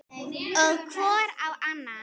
Og hvor á annan.